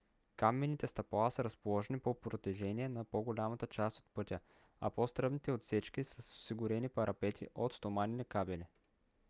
каменните стъпала са разположени по протежение на по - голямата част от пътя а по-стръмните отсечки са с осигурени парапети от стоманени кабели